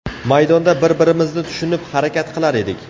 Maydonda bir-birimizni tushunib harakat qilar edik.